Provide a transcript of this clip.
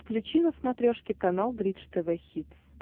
включи на смотрешке канал бридж тв хитс